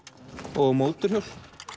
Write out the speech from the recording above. og mótorhjól